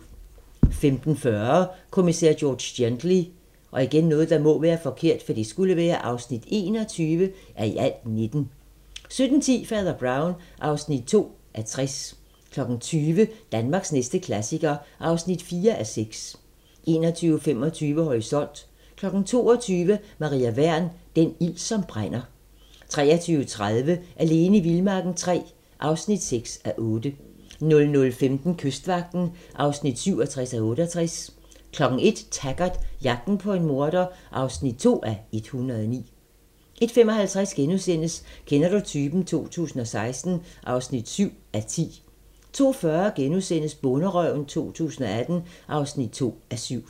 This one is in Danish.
15:40: Kommissær George Gently (21:19) 17:10: Fader Brown (2:60) 20:00: Danmarks næste klassiker (4:6) 21:25: Horisont 22:00: Maria Wern: Den ild som brænder 23:30: Alene i vildmarken III (6:8) 00:15: Kystvagten (67:68) 01:00: Taggart: Jagten på en morder (2:109) 01:55: Kender du typen? 2016 (7:10)* 02:40: Bonderøven 2018 (2:7)*